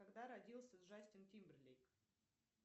когда родился джастин тимберлейк